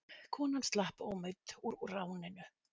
Konan slapp ómeidd úr ráninu.